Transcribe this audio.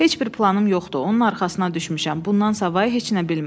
Heç bir planım yoxdur, onun arxasına düşmüşəm, bundan savay heç nə bilmirəm.